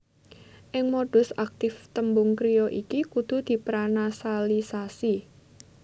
Ing modus aktif tembung kriya iki kudu dipranasalisasi